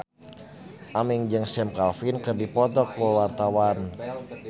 Aming jeung Sam Claflin keur dipoto ku wartawan